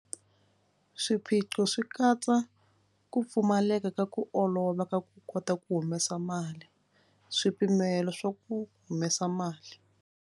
Swiphiqo swi katsa ku pfumaleka ka ku olova ka ku kota ku humesa mali swipimelo swa ku humesa mali.